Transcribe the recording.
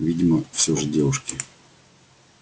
видимо всё же девушки